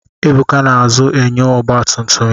Ebuka na-azụ enyo ọgbatumtum ya.